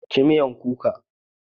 Ci mean kuka!